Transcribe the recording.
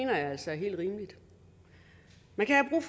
jeg altså er helt rimeligt man kan have